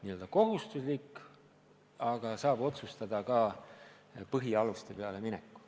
See pole kohustuslik, aga saab minna.